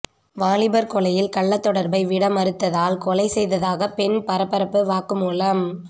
வாலிபர் கொலையில் கள்ளத் தொடர்பை விட மறுத்ததால் கொலை செய்ததாக பெண் பரபரப்பு வாக்குமூலம்